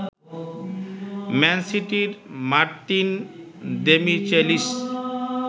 man সিটির Martin Demichelis